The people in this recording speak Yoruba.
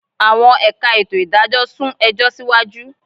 Àwọn ẹ̀ka ètò ìdájọ́ sún ẹjọ́ síwájú